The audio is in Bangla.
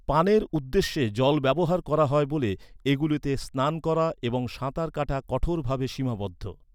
পানের উদ্দেশ্যে জল ব্যবহার করা হয় বলে এগুলিতে স্নান করা এবং সাঁতার কাটা কঠোরভাবে সীমাবদ্ধ।